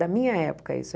Da minha época, isso.